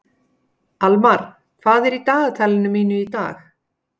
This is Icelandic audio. Almar, hvað er í dagatalinu mínu í dag?